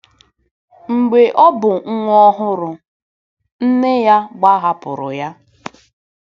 Mgbe ọ bụ nwa ọhụrụ, nne ya gbahapụrụ ya.